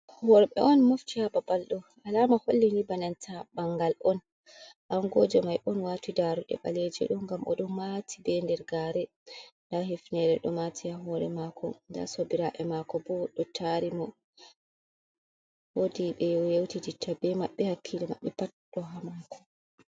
worɓe on mofti ha babal do alama hollini banenta bangal on angoje mai on wati darude baleje do gam o do mati be der gare da hifnere do mati ha hore mako da sobiraɓe mako bo do tari mo wodi be yeuti ditta be mabɓe hakkilo mabɓe pat do ha mako